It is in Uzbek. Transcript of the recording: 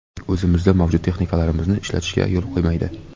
O‘zimizda mavjud texnikalarimizni ishlatishga yo‘l qo‘ymaydi.